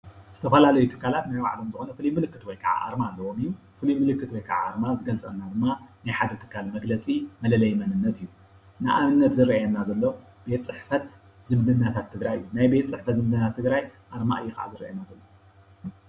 ዝተፈላለዩ ትካላት ናይ ባዕሎም ፉሉይ ምልክት ወይ አርማ አሎዎ እዩ ምፉሉይ ምልክት ወይ አርማ ዝገልፀልና ድማ ሓደ ትካል መግለፂ መለለይ እዩ ፡፡ንአብነት ዝረአየና ዘሎ ቤተ ፅሕፈት ዝምድናታት ትግራይ ናይ ቤተ ፅሕፈት ትግራይ አርማ ካእዩ ዝረአየና ዘሎ፡፡